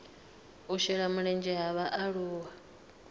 u shela mulenzhe ha vhaaluwa